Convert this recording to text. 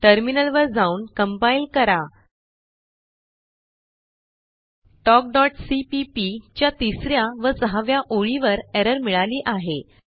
टर्मिनलवर जाऊन compileकरा talkसीपीपी च्या तिस या व सहाव्या ओळीवर एरर मिळाली आहे